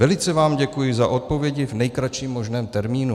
Velice vám děkuji za odpovědi v nejkratším možném termínu.